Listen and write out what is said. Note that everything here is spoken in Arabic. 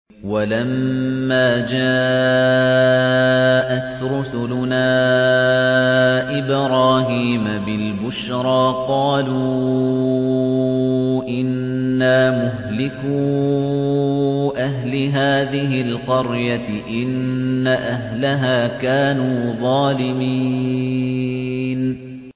وَلَمَّا جَاءَتْ رُسُلُنَا إِبْرَاهِيمَ بِالْبُشْرَىٰ قَالُوا إِنَّا مُهْلِكُو أَهْلِ هَٰذِهِ الْقَرْيَةِ ۖ إِنَّ أَهْلَهَا كَانُوا ظَالِمِينَ